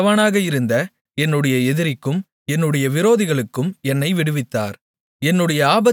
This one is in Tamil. என்னைவிட பெலவானாக இருந்த என்னுடைய எதிரிக்கும் என்னுடைய விரோதிகளுக்கும் என்னை விடுவித்தார்